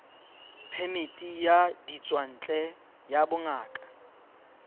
phemiti ya ditswantle ya bongaka